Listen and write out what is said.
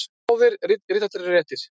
Báðir rithættir eru réttir.